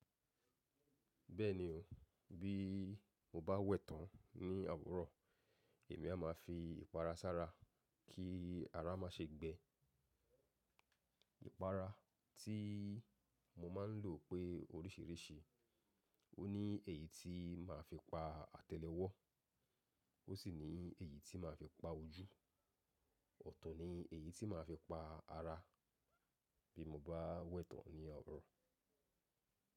Bẹ́ẹ̀ni o, bí mo bá wẹ̀tán ní àwòrán, èmi a má fi ìpara sára kí ara má ṣe gbẹ. Ìpara tí mo máa ń lò pé oríṣìíríṣìí. Ó ní èyí tí màá fi pa àtẹ́lẹwọ́, ó sì ní èyí tí màá fi pa ojú. Ọ̀tún ni èyí tí màá fi pa ara bí mo bá wẹ̀tán ní àro.